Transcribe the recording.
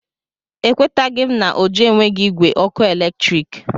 Ekwetaghị m na Ojo enweghị igwe ọkụ eletrik.